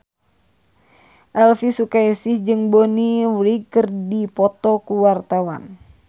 Elvy Sukaesih jeung Bonnie Wright keur dipoto ku wartawan